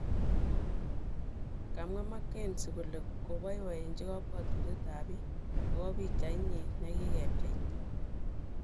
Kamwa Makenzie kole koboiboechi kobwotutyet ab bik akobo pichait nyin nekigepcheita